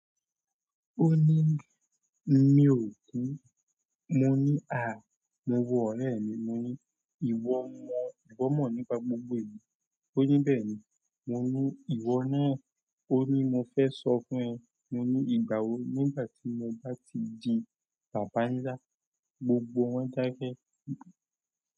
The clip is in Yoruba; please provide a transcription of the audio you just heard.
Ó ní mi ò kú. Mo ní à, mo wo ọ̀rẹ́ mi. Mo ní ìwọ mọ, ìwọ mọ̀ nípa gbogbo èyí. Ó ní bẹ́ẹ̀ni. Mo ní ìwọ náà, ó ní mo fẹ́ sọ fún ẹ. Mo ní ìgbà wo? Nígbà tí mo bá ti di bàbánlá, gbogbo wọn dákẹ́.